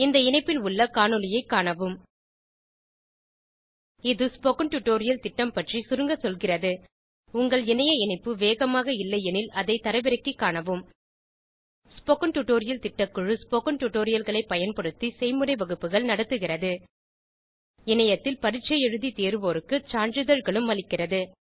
இந்த இணைப்பில் உள்ள காணொளியைக் காணவும் இது ஸ்போகன் டுடோரியல் திட்டம் பற்றி சுருங்க சொல்கிறது உங்கள் இணைய இணைப்பு வேகமாக இல்லையெனில் அதை தரவிறக்கிக் காணவும் ஸ்போகன் டுடோரியல் திட்டக்குழு ஸ்போகன் டுடோரியல்களைப் பயன்படுத்தி செய்முறை வகுப்புகள் நடத்துகிறது இணையத்தில் பரீட்சை எழுதி தேர்வோருக்கு சான்றிதழ்களும் அளிக்கிறது